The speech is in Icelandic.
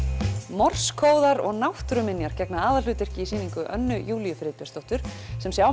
morsekóðar og náttúruminjar gegna aðalhlutverki í sýningu Önnu Júlíu Friðbjörnsdóttur sem sjá